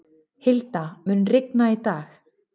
Hilda, mun rigna í dag?